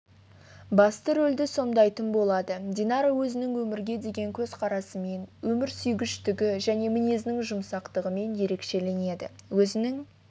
басты рөлді сомдайтын болады динара өзінің өмірге деген көзқарасымен өмірсүйгіштігі және мінезінің жұмсақтығымен ерекшеленеді өзінің